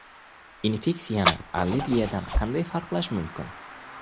Infeksiyani allergiyadan qanday farqlash mumkin?